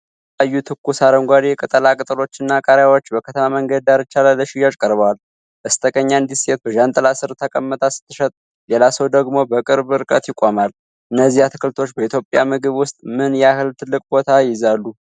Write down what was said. የተለያዩ ትኩስ አረንጓዴ ቅጠላ ቅጠሎችና ቃሪያዎች በከተማ መንገድ ዳርቻ ላይ ለሽያጭ ቀርበዋል። በስተቀኝ አንዲት ሴት በዣንጥላ ስር ተቀምጣ ስትሸጥ፣ ሌላ ሰው ደግሞ በቅርብ ርቀት ይቆማል። እነዚህ አትክልቶች በኢትዮጵያ ምግብ ውስጥ ምን ያህል ትልቅ ቦታ ይይዛሉ?